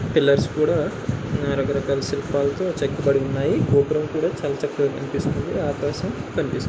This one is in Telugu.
పిల్లర్స్ కూడా ఆ రక రకాల శిల్పాలతో చెక్కబడి ఉన్నాయి. గోపురం కూడా చాలా చక్కగా కనిపిస్తుంది. ఆకాశం కనిపిస్తుంది.